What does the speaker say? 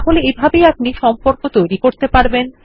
তাহলে এইভাবেই আপনি সম্পর্ক স্থাপন করতে পারেন